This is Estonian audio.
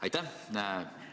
Aitäh!